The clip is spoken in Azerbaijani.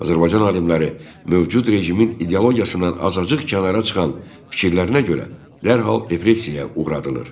Azərbaycan alimləri mövcud rejimin ideologiyasından azacıq kənara çıxan fikirlərinə görə dərhal repressiyaya uğradılırdı.